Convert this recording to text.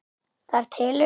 Það telur.